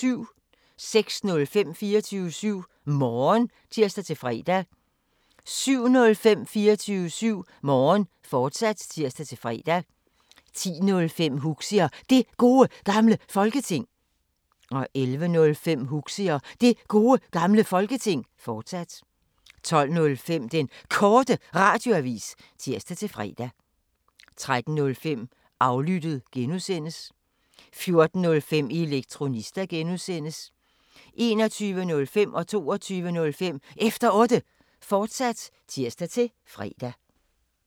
06:05: 24syv Morgen (tir-fre) 07:05: 24syv Morgen, fortsat (tir-fre) 10:05: Huxi og Det Gode Gamle Folketing 11:05: Huxi og Det Gode Gamle Folketing, fortsat 12:05: Den Korte Radioavis (tir-fre) 13:05: Aflyttet G) 14:05: Elektronista (G) 21:05: Efter Otte, fortsat (tir-fre) 22:05: Efter Otte, fortsat (tir-fre)